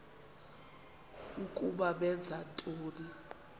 ukuba benza ntoni